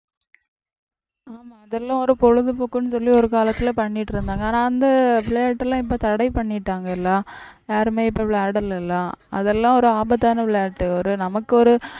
ஆமா அதெல்லாம் ஒரு பொழுதுபோக்குன்னு சொல்லி ஒரு காலத்துல பண்ணிட்டு இருந்தாங்க ஆனா அந்த விளையாட்டு எல்லாம் இப்ப தடை பண்ணிட்டாங்கல யாருமே இப்ப விளையாடல அதெல்லாம் ஒரு ஆபத்தான விளையாட்டு ஒரு நமக்கு ஒரு